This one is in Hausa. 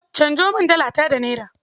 Canjo min Dalata da Naira.